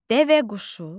Dəvəquşu.